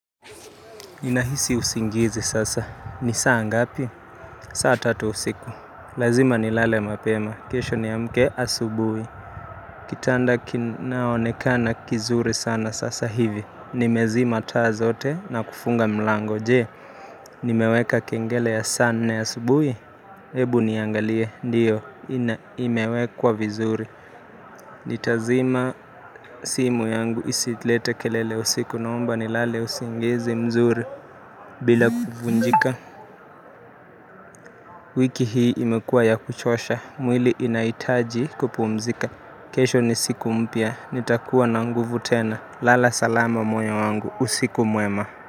Ninahisi usingizi sasa. Ni saa ngapi? Saa tatu usiku. Lazima nilale mapema. Kesho niamke asubuhi. Kitanda kinaonekana kizuri sana sasa hivi. Nimezima taa zote na kufunga mlango. Je, Nimeweka kengele ya saa nne asubuhi. Hebu niangalie. Ndio. Ina imewekwa vizuri. Nitazima simu yangu isilete kelele usiku naomba nilale usingizi mzuri. Bila kuvunjika. Wiki hii imekuwa ya kuchosha mwili inahitaji kupumzika kesho ni siku mpya nitakuwa na nguvu tena. Lala salama moyo wangu. Usiku mwema.